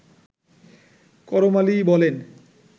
করম আলী বলেন